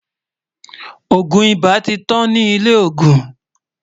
ògún ibà tí tán ní ilè ògún